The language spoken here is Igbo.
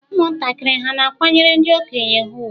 Ụmụntakịrị hà na-akwanyere ndị okenye ha ùgwù?